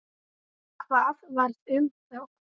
Hvað varð um þá?